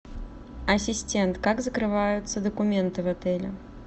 ассистент как закрываются документы в отеле